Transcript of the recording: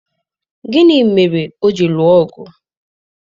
gịnị mere o ji lụọ ọgụ?